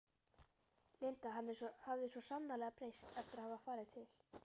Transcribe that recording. Linda hafði svo sannarlega breyst eftir að hafa farið til